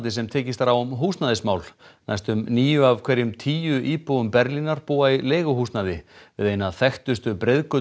sem tekist er á um húsnæðismál næstum níu af hverjum tíu íbúum Berlínar búa í leiguhúsnæði við eina þekktustu